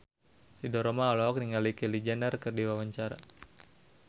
Ridho Roma olohok ningali Kylie Jenner keur diwawancara